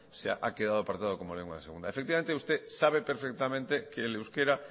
se ha quedado apartado como lengua de segunda efectivamente usted sabe perfectamente que el euskera